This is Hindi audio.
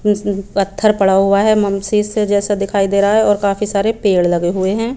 उसमे भी पथर पड़ा हुआ है मंशेष जैसा दिखाई दे रहा है और काफी सारे पेड़ लगे हुए है।